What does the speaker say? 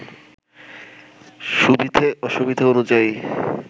সুবিধে অসুবিধে অনুযায়ী